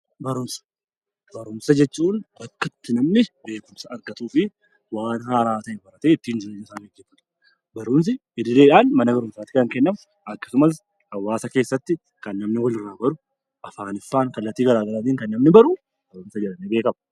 Barumsa jechuun bakka itti namni beekumsa argatuu fi waan haaara ta'e baratee ittiin jireenya isaa gaggeeffatudha. Barumsi idileedhaan mana barumsaatti kan kennamu, akkasumas hawaasa keessatti kan namni walirraa baru, afaanii fi kallattii garaa garaatiin kan namni baru barumsa jedhamee beekama.